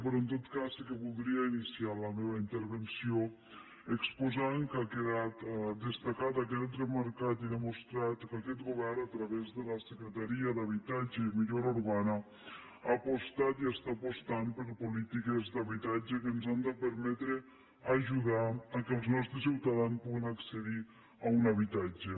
però en tot cas sí que voldria iniciar la meva intervenció exposant que ha quedat destacat i ha quedat demostrat que aquest govern a través de la secretaria d’habitatge i millora urbana ha apostat i està apostant per polítiques d’habitatge que ens han de permetre ajudar al fet que els nostres ciutadans puguin accedir a un habitatge